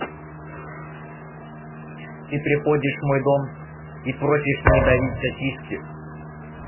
ты приходишь в мой дом и просишь не давить сосиски